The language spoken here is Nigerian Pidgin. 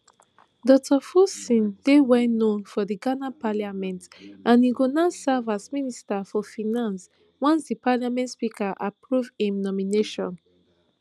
dr forson dey wellknown for di ghana parliament and e go now serve as minister for finance once di parliament speaker approve im nomination